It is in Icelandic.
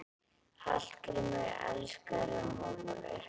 Hallgrímur elskar rjómabollur.